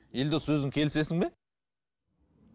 елдос өзің келісесің бе